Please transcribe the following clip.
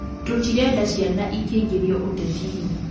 Tũtirenda ciana ikĩingĩrio ũtetinĩ